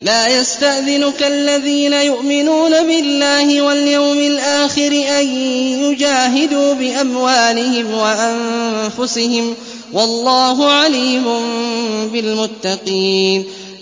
لَا يَسْتَأْذِنُكَ الَّذِينَ يُؤْمِنُونَ بِاللَّهِ وَالْيَوْمِ الْآخِرِ أَن يُجَاهِدُوا بِأَمْوَالِهِمْ وَأَنفُسِهِمْ ۗ وَاللَّهُ عَلِيمٌ بِالْمُتَّقِينَ